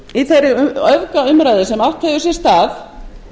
í þeirri öfgaumræðu sem átt hefur sér stað